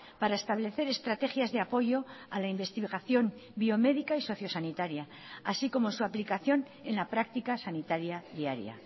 para establecer estrategias de apoyo a la investigación biomédica y socio sanitaria así como su aplicación en la practica sanitaria diaria